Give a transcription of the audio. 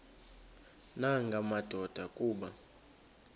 nanga madoda kuba